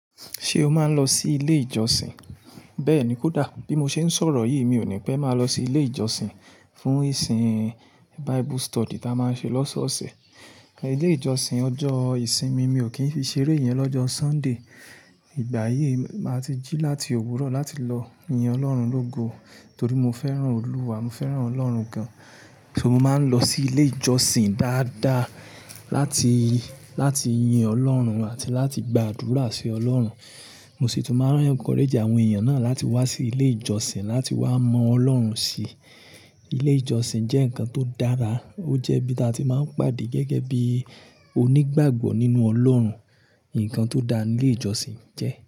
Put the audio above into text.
Ṣé o máa ń lọ sí ilé ìjọsìn? Bẹ́ẹ̀ni, kódà bí mo ṣe ń sọ̀rọ̀ yìí mi ò ní pẹ́ máa lọ sí ilé ìjọsìn fún ìsìn Bible study tí a máa ń ṣe lọ́sọ́ọ̀ọ̀sẹ̀. Ilé ìjọsìn ọjọ́ ìsinmin mi ò kìn fi ṣeré ìyẹn ni ọjọ́ sunday ìgbà yìí, màá ti jí láti òwúrọ̀ láti lọ yin Ọlọ́run lógo torí mo fẹ́ràn Olúwa, mo fẹ́ràn Ọlọ́run gan. So mo má ń lọ sí ilé ìjọsìn dáadáa láti láti yin ọlọ́run àti láti gbàdúrà sí ọlọ́run. Mo sì tún máa ń encourage àwọn èèyàn náà láti wá sí ilé ìjọsìn láti wá mọ Ọlọ́run sí. Ilé ìjọsìn jẹ́ nǹkan tó dára, ó jẹ́ ibi tí a ti máa ń pàdé gẹ́gẹ́ bí onígbàgbọ́ nínú Ọlọ́run. Ǹkan tó da ni ilé ìjọsìn jẹ́.